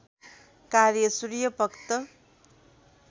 कार्य सूर्यभक्त